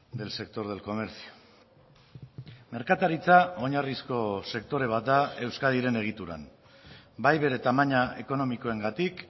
del sector del comercio merkataritza oinarrizko sektore bat da euskadiren egituran bai bere tamaina ekonomikoengatik